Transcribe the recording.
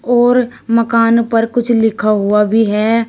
और मकान पर कुछ लिखा हुआ भी है।